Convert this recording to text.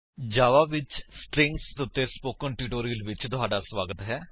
ਜਾਵਾ ਵਿੱਚ ਸਟਰਿੰਗਜ਼ ਉੱਤੇ spoken tutorial ਵਿੱਚ ਤੁਹਾਡਾ ਸਵਾਗਤ ਹੈ